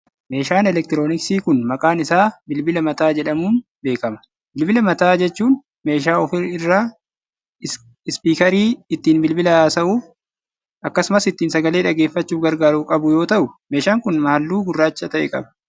Meeshaan elektirooniksii kun, maqaan isaa bilbila mataa jedhamuun beekama. Bilbila mataa jechuun meeshaa of irraa ispiikarii ittiin bilbila haasa'uuf akkasumas ittiin sagalee dhageeffachuuf gargaaru qabu yoo ta'u, meeshaan kun haalluu gurraacha ta'e qaba.